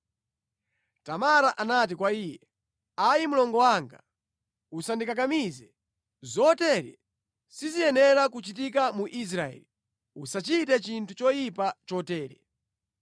Tamara anati kwa iye, “Ayi mlongo wanga! Usandikakamize. Zotere siziyenera kuchitika mu Israeli! Usachite chinthu choyipa chotere.